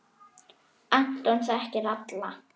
Anton þekkti alla.